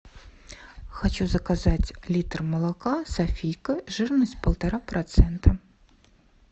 хочу заказать литр молока софийка жирность полтора процента